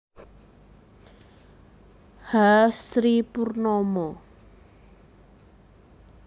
H Sri Purnomo